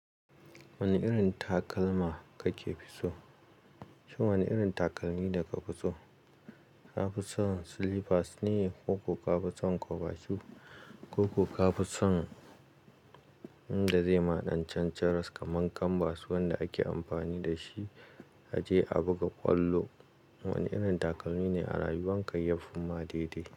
Wani irin takalma kake fiso? Shin wani irin takalmi ne ka fi so? Ka fi son slippers ne ko ka fi son kwaba shoe, ko ka fi son inda zai ma ɗancan charas kamar kanbas wanda ake amfani da shi a je a buga ƙwallo. Wani irin takalmi ni a rayuwarka? Yafi ma daidai.